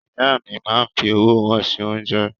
Ìyá mi máa ń fi ọwọ́ wọn ṣe oúnjẹ.